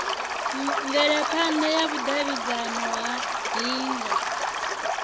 mvelaphana ya vhudavhidzano ha hingo